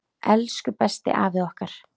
Elsku besti afi okkar!